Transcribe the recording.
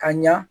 Ka ɲa